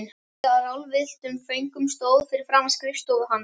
Löng röð af ráðvilltum föngum stóð fyrir framan skrifstofu hans.